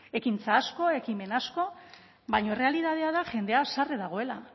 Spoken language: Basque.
ekintza asko ekimen asko baina errealitatea da jendea haserre dagoela